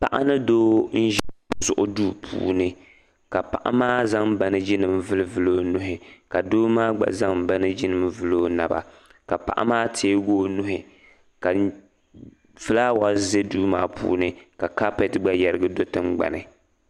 Paɣa ni doo n-ʒi duu puuni ka paɣa maa zaŋ baneejinima n-vulivuli o nuhi ka doo maa gba zaŋ baneejinima vuli o naba ka paɣa maa teegi o nuhi ka fulaawa za duu maa puuni ka kaapɛti gba yɛrigi do tiŋgbani.